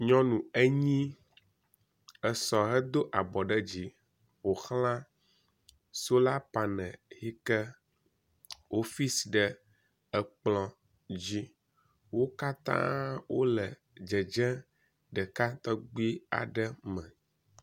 nyɔnu enyi esɔ he dó abɔ ɖe dzi ƒoxlã sola panel yike wó fis ɖe ekplɔ dzi wókatã wóle dzedzé ɖeka tɔgbii me